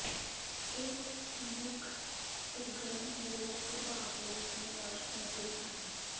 ਇਹ ਮੁੱਖ ਸਰਗਰਮ ਿਨਰੋਧ ਪ੍ਰਭਾਵ ਲਈ ਜ਼ਿੰਮੇਵਾਰ ਸਮੱਗਰੀ ਹਨ